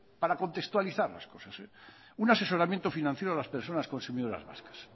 para contextualizar las cosas un asesoramiento financiero a las personas consumidoras vascas